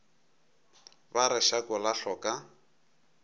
ba re šako la hloka